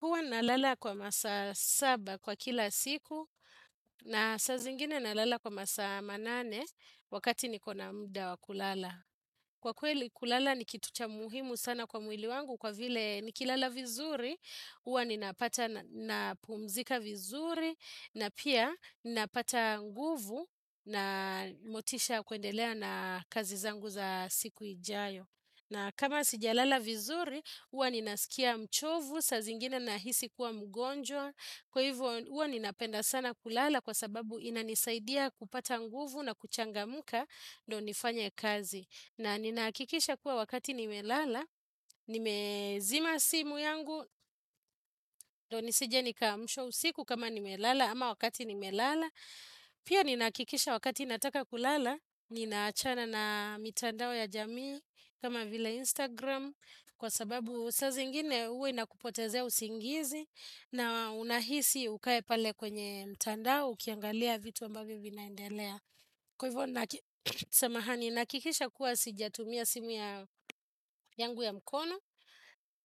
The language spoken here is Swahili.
Huwa nalala kwa masaa saba kwa kila siku na saa zingine nalala kwa masaa manane wakati nikona muda wakulala. Kwa kweli kulala ni kitu cha muhimu sana kwa mwili wangu kwa vile nikilala vizuri, huwa ninapata na pumzika vizuri na pia ninapata nguvu na motisha kuendelea na kazi zangu za siku ijayo. Na kama sijalala vizuri, huwa ninasikia mchovu, saa zingine nahisi kuwa mgonjwa, kwa hivyo huwa ninapenda sana kulala kwa sababu inanisaidia kupata nguvu na kuchangamka ndo nifanye kazi. Na ninahakikisha kuwa wakati nimelala, nimezima simu yangu ndo nisije nikaamshwa usiku kama nimelala ama wakati nimelala. Pia ninahakikisha wakati nataka kulala, ninaachana na mitandao ya jamii kama vile Instagram kwa sababu saa zingine huwa inakupotezea usingizi na unahisi ukae pale kwenye mitandao ukiangalia vitu ambavyo vinaendelea. Kwa hivyo, samahani, nahakikisha kuwa sijatumia simu yangu ya mkono,